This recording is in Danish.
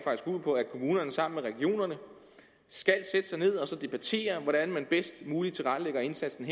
kommunerne sammen med regionerne skal sætte sig ned og debattere hvordan man bedst muligt tilrettelægger indsatsen